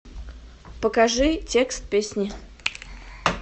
покажи текст песни